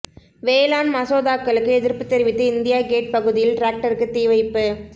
வேளாண் மசோதாக்களுக்கு எதிா்ப்புத் தெரிவித்து இந்தியா கேட் பகுதியில் டிராக்டருக்கு தீ வைப்பு